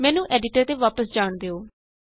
ਮੈਨੂੰ ਐਡੀਟਰ ਤੇ ਵਾਪਸ ਜਾਣ ਦਿਉ